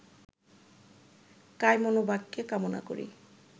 কায়মনোবাক্যে কামনা করি